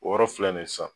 O yɔrɔ filɛ nin ye sisan